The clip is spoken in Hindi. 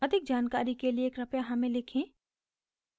अधिक जानकारी के लिए कृपया हमें लिखें